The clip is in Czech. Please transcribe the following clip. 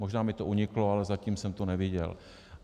Možná mi to uniklo, ale zatím jsem to neviděl.